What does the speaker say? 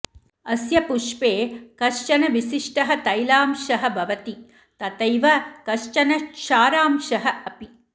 अस्य पुष्पे कश्चन विशिष्टः तैलांशः भवति तथैव कश्चन क्षारांशः अपि